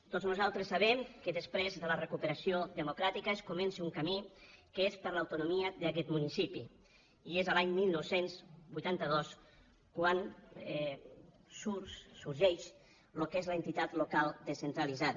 tots nosaltres sabem que després de la recuperació democràtica es comença un camí que és per a l’autonomia d’aquest municipi i és l’any dinou vuitanta dos quan sorgeix el que és l’entitat local descentralitzada